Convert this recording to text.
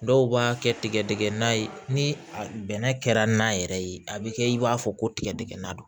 Dɔw b'a kɛ tigɛdɛgɛ na ye ni bɛnɛ kɛra n'a yɛrɛ ye a bi kɛ i b'a fɔ ko tigɛdigɛnna don